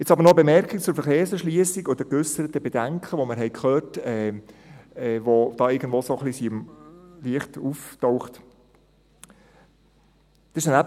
Jetzt aber noch eine Bemerkung zur Verkehrserschliessung und den geäusserten Bedenken, die wir gehört haben, die hier irgendwo so leicht aufgetaucht sind.